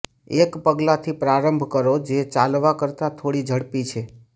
એક પગલાથી પ્રારંભ કરો જે ચાલવા કરતાં થોડી ઝડપી છે